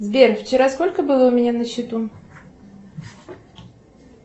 сбер вчера сколько было у меня на счету